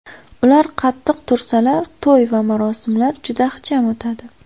Ular qattiq tursalar, to‘y va marosimlar juda ixcham o‘tadi.